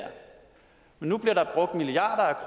men nu bliver der brugt milliarder